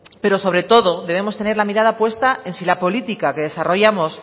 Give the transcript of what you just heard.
pero sobre todo debemos tener la mirada puesta en si la política que desarrollamos